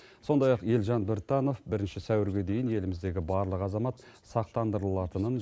сондай ақ елжан біртанов бірінші сәуірге дейін еліміздегі барлық азамат сақтандырылатынын